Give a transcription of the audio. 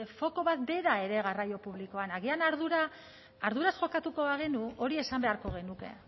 foko bat bera ere garraio publikoan agian arduraz jokatuko bagenu hori esan beharko genuke